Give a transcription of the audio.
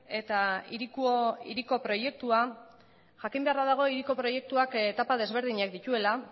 eta jakin beharra dago hiriko proiektuak etapa desberdinak dituela